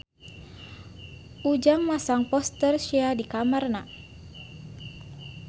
Ujang masang poster Sia di kamarna